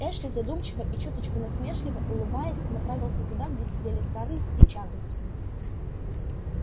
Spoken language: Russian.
эшли задумчиво и чуточку насмешливо улыбаясь направился туда где сидели скарлетт и чарльз